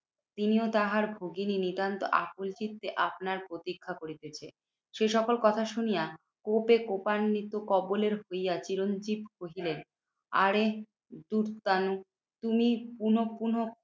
তিনিও তাহার ভগিনী নিতান্ত আকুল চিত্তে আপনার প্রতীক্ষা করিতেছে। সে সকল কথা শুনিয়া কোপে কোপান্নিত কবলের হইয়া চিরঞ্জিত কহিলেন, আরে দুত্তানু তুমি পুনঃ পুনঃ